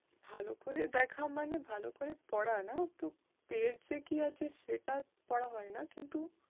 ভালো করে দেখা মানে ভালো করে পড়া না তো page এ কী আছে সেটা পড়া হয়না। কিন্তু